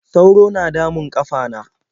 sauro na damun ƙafana.